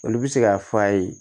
Olu bɛ se k'a f'a ye